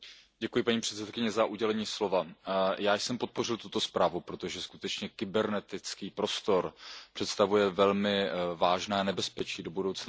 Paní předsedající, já jsem podpořil tuto zprávu, protože skutečně kybernetický prostor představuje velmi vážné nebezpečí do budoucna.